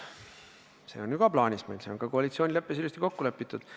See on ju ka koalitsioonileppes ilusti kokku lepitud.